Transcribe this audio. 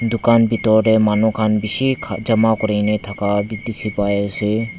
dukan bitor tae manu khan bishi kha jama kurina thaka bi dikhipaiase.